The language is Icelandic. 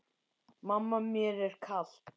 Mamma mér er kalt!